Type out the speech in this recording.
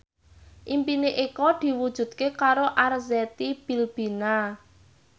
impine Eko diwujudke karo Arzetti Bilbina